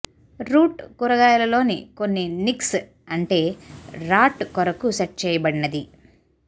route కూరగాయలలోని కొన్ని నిక్స్ అంటే రాట్ కొరకు సెట్ చేయబడినది